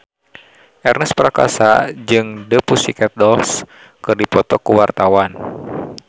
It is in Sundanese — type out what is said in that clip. Ernest Prakasa jeung The Pussycat Dolls keur dipoto ku wartawan